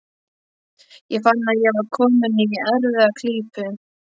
Ég fann að ég var kominn í erfiða klípu.